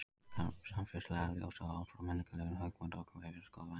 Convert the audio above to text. Í þessu samfélagslega ljósi og út frá menningarlegum hugmyndum okkar ber að skoða vændi.